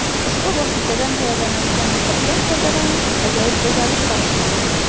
Ushbu vositadan tayyorlanadigan niqobdan foydalanish ajoyib go‘zallik bag‘ishlaydi.